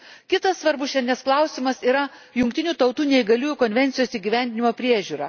Kitas svarbus šiandienos klausimas yra Jungtinių Tautų neįgaliųjų konvencijos įgyvendinimo priežiūra.